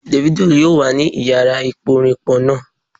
Davido yoo wa ni iyara iporinpo naa